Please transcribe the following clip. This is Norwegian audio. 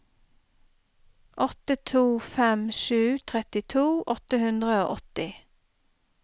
åtte to fem sju trettito åtte hundre og åtti